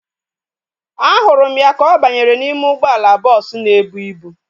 Ahụrụ m ya ka ọ banyere n'ime ụgbọala bọọsu na ebu ịbụ